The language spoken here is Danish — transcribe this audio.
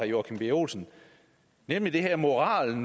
joachim b olsen nemlig det her moralske